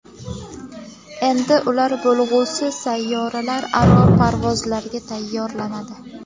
Endi ular bo‘lg‘usi sayyoralararo parvozlarga tayyorlanadi.